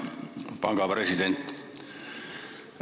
Hea panga president!